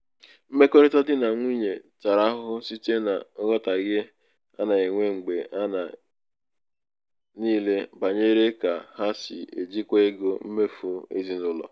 mmekọrịta di na nwunye tara ahụhụ site na nghọtahie a na-enwe mgbe a na-enwe mgbe niile banyere ka ha si ejikwa ego mmefu ezinụlọ.